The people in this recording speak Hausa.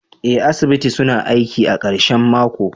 Ee, asibiti suna aiki a karshen mako.